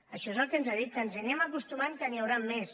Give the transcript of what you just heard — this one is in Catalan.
això és el que ens ha dit que ens hi anem acostumant que n’hi hauran més